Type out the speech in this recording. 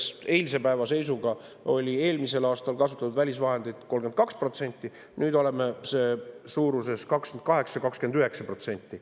Kui eelmisel aastal oli kasutatud välisvahendeid 32%, siis eilse päeva seisuga olime 28–29%.